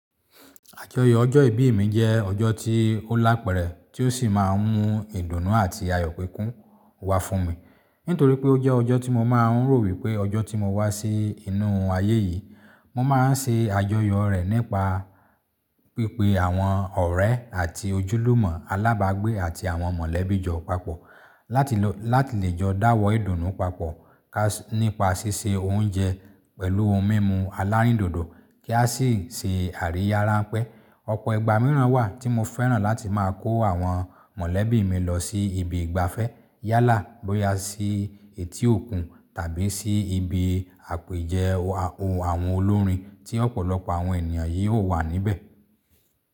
Àjọyọ̀ ọjọ́ ìbí mi jẹ́ ọjọ́ tí ó lápẹ̀rẹ̀ tí ó sì máa ń mú ìdùnnú àti àyò pẹ́kun wá fún mi. Nítorí pé ó jẹ́ ọjọ́ tí mo máa ń rò wípé ọjọ́ tí mo wá sí inú ayé yìí, mo máa ń ṣe àjọyọ̀ rẹ̀ nípa pípé àwọn ọ̀rẹ́ àti ojúlùmọ̀ alábágbé àti àwọn mọ̀lẹ́bí jọ papọ̀, láti lo Látì lè jọ́ dáwọ́ ìdùnnú papọ̀ nípa ṣíṣe oúnjẹ pẹ̀lú ohun mímu alárìndòdò kí a sì ṣe àríyá ránpẹ́. Ọ̀pọ̀ ìgbà mìíràn wà tí mo fẹ́ràn láti máa kó àwọn mọ̀lẹ́bí mi lọ sí ibi ìgbafẹ́ yálà bóyá sí etí òkun tàbí sí ibi àpèjẹ àwọn olórin tí ọ̀pọ̀lọpọ̀ àwọn ènìyàn yìí ó wà níbẹ̀.